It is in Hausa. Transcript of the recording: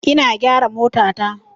Ina gyara motata.